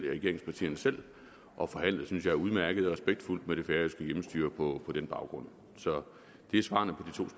regeringspartierne selv og forhandlet synes jeg udmærket og respektfuldt med det færøske hjemmestyre på den baggrund så det er svarene